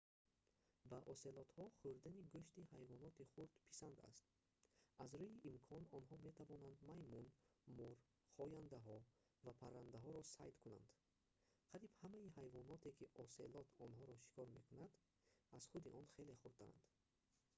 ба оселотҳо хӯрдани гӯшти ҳайвоноти хурд писанд аст аз рӯи имкон онҳо метавонанд маймун мор хояндаҳо ва паррандаҳоро сайд кунанд қариб ҳамаи ҳайвоноте ки оселот онҳоро шикор мекунад аз худи он хеле хурдтаранд